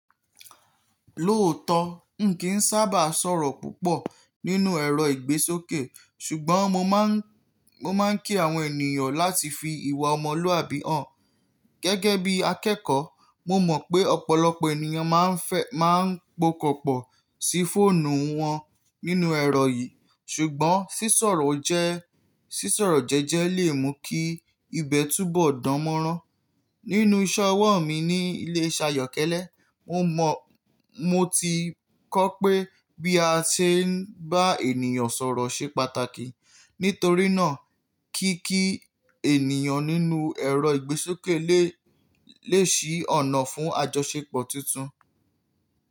Lóòótọ́, n kì í sábà sọ̀rọ̀ púpọ̀ nínú ẹ̀rọ ìgbésókè, ṣùgbọ́n mo máa ń kí àwọn ènìyàn láti fi ìwà ọmọlúàbí hàn. Gẹ́gẹ́ bí akẹ́kọ̀ọ́, mo mọ̀ pé ọ̀pọ̀lọpọ̀ ènìyàn máa ń pokòpọ̀ sí fóònù wọn nínú ẹ̀rọ yìí, ṣùgbọ́n sísọ̀rọ̀ jẹ́jẹ́ lè mú kí ìbẹ́ túbọ̀ dánmọ́rán. Nínú iṣẹ́ ọwọ́ mi ní ilé-iṣẹ́ ayọ́kẹ́lẹ́, mo ti kọ́ pé bí a ṣe ń bá ènìyàn sọ̀rọ̀ ṣe pàtàkì. Nítorí náà, kíkí ènìyàn nínú ẹ̀rọ ìgbésókè lè ṣí ọ̀nà fún àjọṣepọ̀ tuntun.